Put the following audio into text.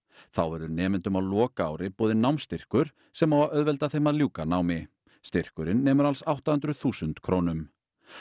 þá verður nemendum á lokaári boðinn námsstyrkur sem á að auðvelda þeim að ljúka námi styrkurinn nemur alls átta hundruð þúsund krónum